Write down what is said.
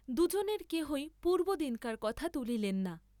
দুজনের কেহই পূর্ব্বদিনকার কথা তুলিলেন না।